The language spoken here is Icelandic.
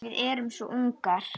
Við erum svo ungar.